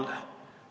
Mulle tundub küll.